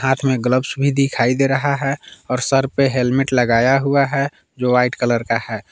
हाथ में ग्लव्स भी दिखाई दे रहा है और सर पे हेलमेट लगाया हुआ है जो व्हाईट कलर का है।